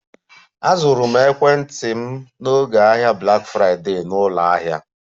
Azụrụ m ekwentị m n'oge ahịa Black Friday na ụlọ ahịa